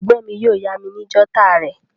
Ègbón mi yio yá mi ni jotter rè